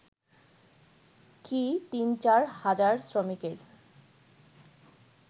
কি ৩/৪ হাজার শ্রমিকের